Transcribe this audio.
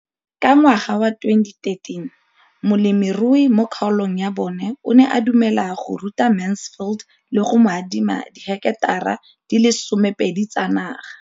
Ka ngwaga wa 2013, molemirui mo kgaolong ya bona o ne a dumela go ruta Mansfield le go mo adima di heketara di le 12 tsa naga.